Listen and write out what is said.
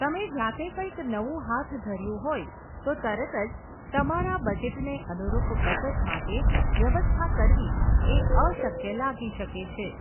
તમે જાતે કંઇક નવું હાથ ધર્યું હોય તો તરત જ તમારા બજેટને અનુરૂપ બચત માટે વ્યવસ્થા કરવી એ અશક્ય લાગી શકે છે.